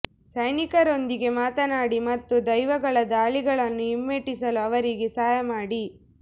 ಸೈನಿಕರೊಂದಿಗೆ ಮಾತನಾಡಿ ಮತ್ತು ದೆವ್ವಗಳ ದಾಳಿಗಳನ್ನು ಹಿಮ್ಮೆಟ್ಟಿಸಲು ಅವರಿಗೆ ಸಹಾಯ ಮಾಡಿ